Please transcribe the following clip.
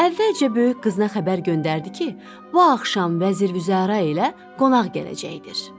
Əvvəlcə böyük qızına xəbər göndərdi ki, bu axşam vəzir-vüzəra ilə qonaq gələcəkdir.